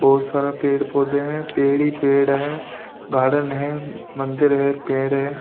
बहुत सारा पेड़ पौधे हैं पेड़ ही पेड़ है गार्डन है मंदिर है पेड़ है।